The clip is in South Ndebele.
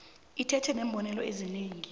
iphethe neembonelo ezinengi